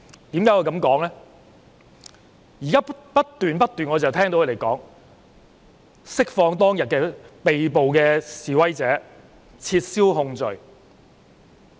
現在他們不斷說要釋放當天被捕的示威者，撤銷控罪。